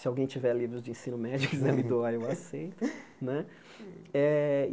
Se alguém tiver livros de ensino médio, quiser me doar, eu aceito né eh.